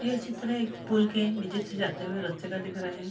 यह चित्र एक पुल के नीचे से जाते हुए रस्ते दिख रहा है।